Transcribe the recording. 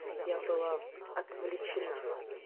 я была отвлечена